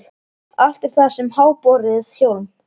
Allt er það sem háborið hjóm.